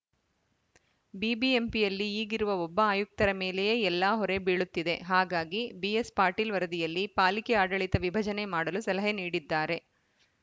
ಬಿಬಿಎಂಪಿಯಲ್ಲಿ ಈಗಿರುವ ಒಬ್ಬ ಆಯುಕ್ತರ ಮೇಲೆಯೇ ಎಲ್ಲ ಹೊರೆ ಬೀಳುತ್ತಿದೆ ಹಾಗಾಗಿ ಬಿಎಸ್‌ಪಾಟೀಲ್‌ ವರದಿಯಲ್ಲಿ ಪಾಲಿಕೆ ಆಡಳಿತ ವಿಭಜನೆ ಮಾಡಲು ಸಲಹೆ ನೀಡಿದ್ದಾರೆ